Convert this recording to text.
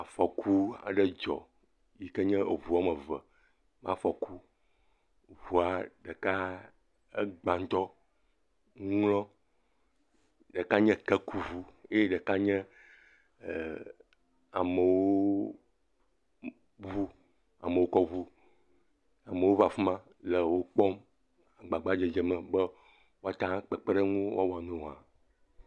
Afɔku aɖe dzɔ. Yi ke nye eɔua me eve ƒe afɔku. Ŋua ɖeka egba ŋutɔ, ŋl. Ɖeka nye kekuɔu eye ɖeka nye eh amewo ŋu. amewo kɔ ŋu. ame aɖewo va afima le wokpɔm, le agbagba dze me be woa teŋu kpekpeɖeŋu ŋu ke woa wɔ na wo hã.